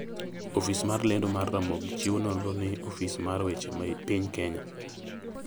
Ofis mar lendo mar Ramogi chiwo nonro ni Ofis mar weche piny Kenya .